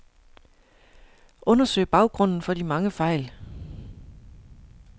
Undersøg baggrunden for de mange fejl.